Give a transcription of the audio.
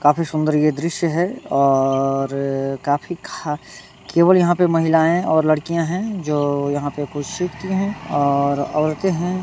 काफी सुंदर ये दृश्य है और काफी खा केवल यहाँ पे महिलाएं और लड़कियां है जो यहाँ पे कुछ सिखती है और औरते हैं।